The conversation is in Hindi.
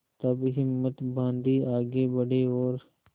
तब हिम्मत बॉँधी आगे बड़े और